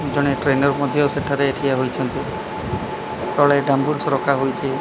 ଜଣେ ଟ୍ରେନର୍ ମଧ୍ୟ ସେଠାରେ ଠିଆ ହୋଇଛନ୍ତି ତଳେ ସ ରଖାହୋଇଛି।